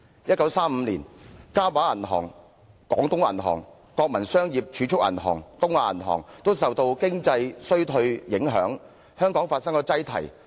1935年，嘉華銀行、廣東銀行、國民商業儲蓄銀行和東亞銀行均受全球經濟衰退影響，在香港的分行發生擠提。